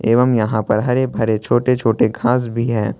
एवम् यहां पर छोटे छोटे घास भी है।